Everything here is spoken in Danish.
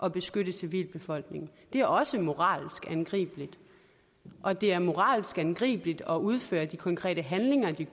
at beskytte civilbefolkningen det er også moralsk angribeligt og det er moralsk angribeligt at udføre de konkrete handlinger de